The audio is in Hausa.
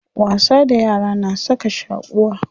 Wasa da yara na saka shaquwa.